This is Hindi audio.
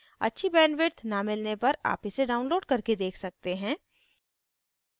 अच्छी bandwidth न मिलने पर आप इसे download करके देख सकते हैं